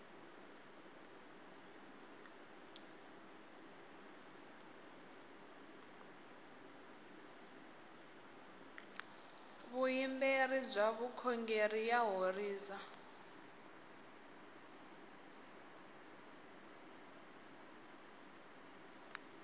vuyimberi bya vukhongeri ya horisa